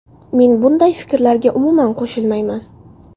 Men bunday fikrlarga, umuman, qo‘shilmayman.